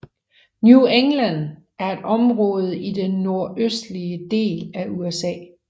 New England er et område i den nordøstlige del af USA